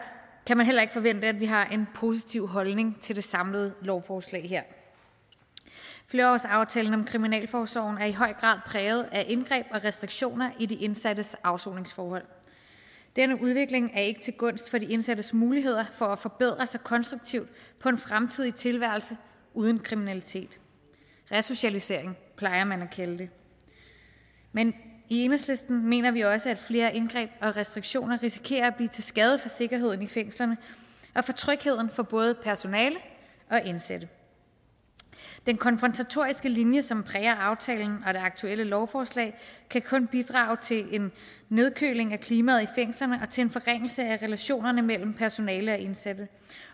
kan man heller ikke forvente at vi har en positiv holdning til det samlede lovforslag flerårsaftalen om kriminalforsorgen er i høj grad præget af indgreb og restriktioner i de indsattes afsoningsforhold denne udvikling er ikke til gunst for de indsattes muligheder for at forbedre sig konstruktivt på en fremtidig tilværelse uden kriminalitet resocialisering plejer man at kalde det men i enhedslisten mener vi også at flere indgreb og restriktioner risikerer at blive til skade for sikkerheden i fængslerne og for trygheden for både personale og indsatte den konfrontatoriske linje som præger aftalen og det aktuelle lovforslag kan kun bidrage til en nedkøling af klimaet i fængslerne og til en forringelse af relationerne mellem personale og indsatte